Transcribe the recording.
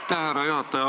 Aitäh, härra juhataja!